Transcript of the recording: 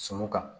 Sɔmiw kan